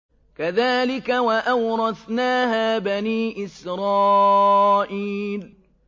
كَذَٰلِكَ وَأَوْرَثْنَاهَا بَنِي إِسْرَائِيلَ